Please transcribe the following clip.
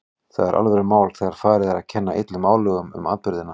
Það er alvörumál þegar farið er að kenna illum álögum um atburðina.